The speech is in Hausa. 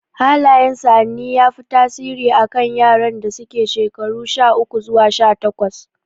Hallayen sa'anni ya fi tasiri a kan yaran da suke shekaru sha uku zuwa sha takwas